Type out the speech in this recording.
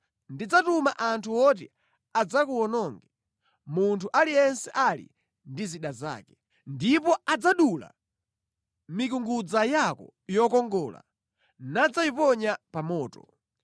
Ndidzatuma anthu oti adzakuwononge, munthu aliyense ali ndi zida zake, ndipo adzadula mikungudza yako yokongola nadzayiponya pa moto.